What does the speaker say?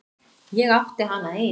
Ég átti hana ein.